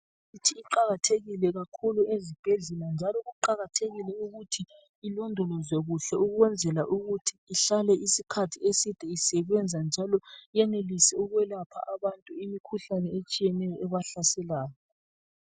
Imithi iqakathekile kakhulu ezibhedlela njalo kuqakathekile ukuthi ilondolozwe kuhle ukwenzela ukuthi ihlale isikhathi eside isebenza njalo yenelise ukwelapha abantu imikhuhlane etshiyeneyo ebahlaselayo .